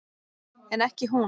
En ekki hún.